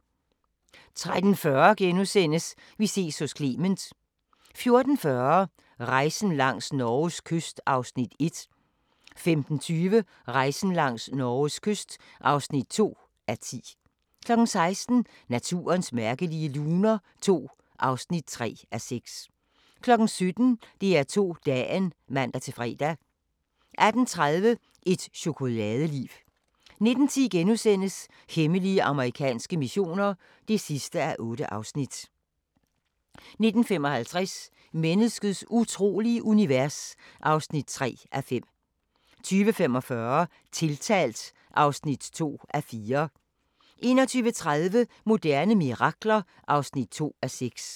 13:40: Vi ses hos Clement * 14:40: Rejsen langs Norges kyst (1:10) 15:20: Rejsen langs Norges kyst (2:10) 16:00: Naturens mærkelige luner II (3:6) 17:00: DR2 Dagen (man-fre) 18:30: Et chokoladeliv 19:10: Hemmelige amerikanske missioner (8:8)* 19:55: Menneskets utrolige univers (3:5) 20:45: Tiltalt (2:4) 21:30: Moderne mirakler (2:6)